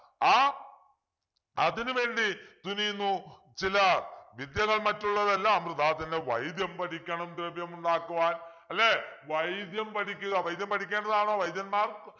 ആഹ് അതിനുവേണ്ടി തുനിയുന്നു ചിലർ വിദ്യകൾ മറ്റുള്ളതെല്ലാം വൃഥാതന്നെ വൈദ്യം പഠിക്കണം ദ്രവ്യമുണ്ടാക്കുവാൻ അല്ലെ വൈദ്യം പഠിക്കുക വൈദ്യം പഠിക്കേണ്ടതാണോ വൈദ്യന്മാർ